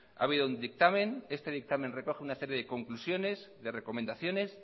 ha habido un dictamen este dictamen recoge una serie de conclusiones de recomendaciones